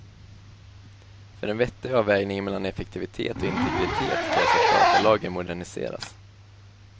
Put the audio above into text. För en vettig avvägning mellan effektivitet och integritet krävs att datalagen moderniseras.